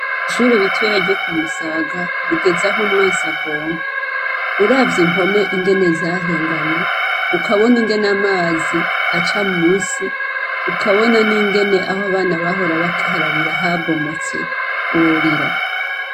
Ishuri ritoya ryo ku Musaga, rigeze ah'umwansi agomba, uravye impome ingene zahengamye ,ukabona ingene amazi aca munsi, ukabona ningene ah'abana bahora bakarabira habomotse worira.